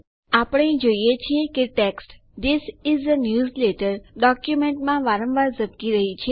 આપણે જોઈએ છીએ કે text this is a newsletter ડોક્યુમેન્ટમાં વારંવાર ઝબકી રહ્યી છે